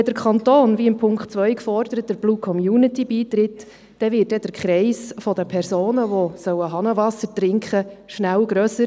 Wenn der Kanton, wie in Ziffer 2 gefordert, der Blue Community beitritt, dann wird der Kreis der Personen, die Hahnenwasser trinken sollen, schnell grösser.